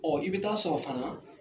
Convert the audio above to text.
Ɔ i bɛ taa sɔrɔ fana